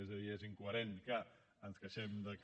és a dir és incoherent que ens queixem de que